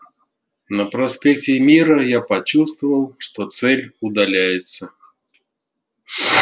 на проспекте мира я почувствовал что цель удаляется